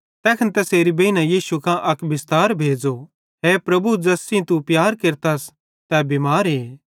तैखन तैसेरी बेइने यीशु कां अक बिस्तार भेज़ो हे प्रभु ज़ैस सेइं तू प्यार केरतस तै बिमारे